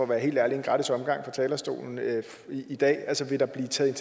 være helt ærlig en gratis omgang fra talerstolen i dag altså vil der blive taget